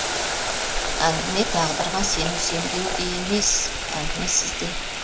әңгіме тағдырға сену сенбеу де емес әңгіме сізде